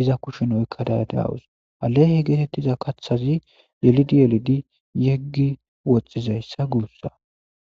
iza kushshen oykkada de'awus ha leehe geetettiza kaaththazi yelidi yelidi yeggi woxxizayssa guussa